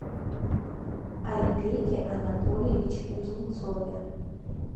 айбеке анатольевиче кузнецове